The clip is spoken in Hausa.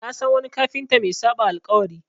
Na san wani kafinta mai saɓa alƙawari.